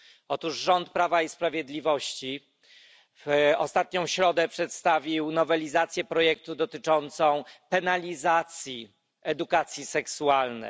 Otóż rząd Prawa i Sprawiedliwości w ostatnią środę przedstawił nowelizację projektu w sprawie penalizacji edukacji seksualnej.